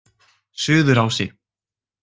Suðurási